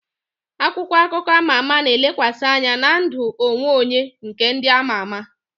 Akwụkwọ akụkọ ama ama na-elekwasị anya na ndụ onwe onye nke ndị ama ama